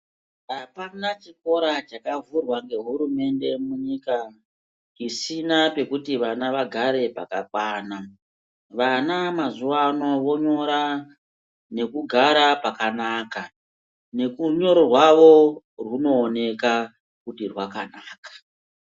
Apana chikora chakavhurwa ngehurumende munyika isina pekuti vana vagare pakakwana. Vana mazuwa ano vonyora nekugara pakanaka nekurunyoro rwawo rwunooneka kuti rwakanaka.